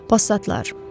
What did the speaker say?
Passatlar.